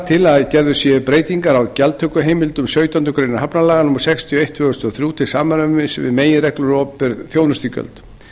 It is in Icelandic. til að gerðar séu breytingar á gjaldtökuheimildum sautjándu grein hafnalaga númer sextíu og eitt tvö þúsund og þrjú til samræmis við meginreglur um opinber þjónustugjöld